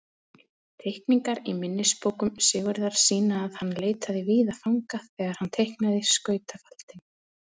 Teikningar í minnisbókum Sigurðar sýna að hann leitaði víða fanga þegar hann teiknaði skautafaldinn.